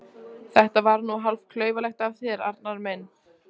Þetta var nú hálf klaufalegt af þér, Arnar minn!